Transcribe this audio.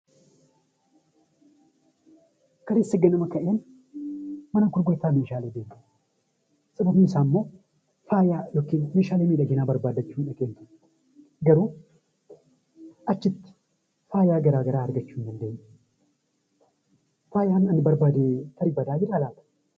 Kaleessa ganamaan mana gurgutaa Meeshaalee deeme sababni isaa immoo faaya yookaan Meeshaalee miidhaginaa garuu achitti meeshaalee garaagaraa argachuu hin dandeenye. Faayaan ani barbaadu tarii badaa jiraa laata?